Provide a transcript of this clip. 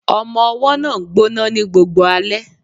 Ọmọ-ọwọ́ náà ń gbọ́ná ní gbogbo alẹ́